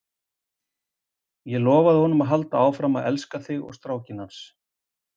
Ég lofaði honum að halda áfram að elska þig og strákinn hans.